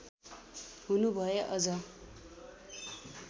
हुनुभए अझ